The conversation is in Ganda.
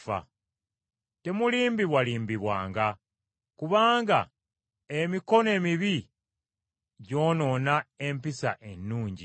Temulimbibwalimbibwanga, kubanga “emikwano emibi gyonoona empisa ennungi.”